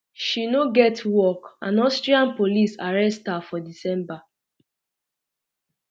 um she um no get work and austrian police arrest her for december